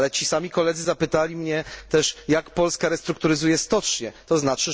Ale ci sami koledzy zapytali mnie też, jak Polska restrukturyzuje stocznie, tzn.